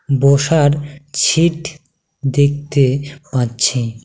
বসার ছিট দেখতে পাচ্ছি।